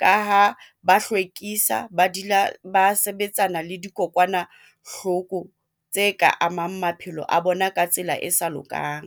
ka ho ba hlwekisa, ba sebetsana le dikokwanahloko tse ka amang maphelo a bona, ka tsela e sa lokang.